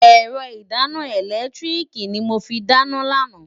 Ẹ̀rọ ìdáná ẹ̀lẹ́tíríìkì ni mo fi dáná lánàá.